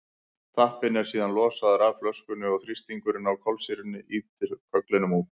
tappinn er síðan losaður af flöskunni og þrýstingurinn á kolsýrunni ýtir kögglinum út